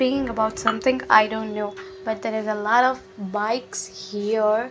being about something I don't know but there is a lot of bikes here.